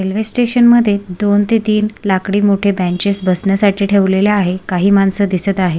Railway station मध्ये दोन ते तीन लाकडी मोठे बेंचीस बसण्यासाठी ठेवलेले आहेत काही माणसं दिसत आहेत.